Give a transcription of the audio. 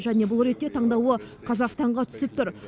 және бұл ретте таңдауы қазақстанға түсіп тұр